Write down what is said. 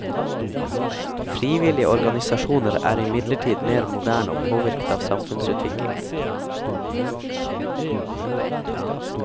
Frivillige organisasjoner er imidlertid mer moderne og påvirket av samfunnsutviklingen.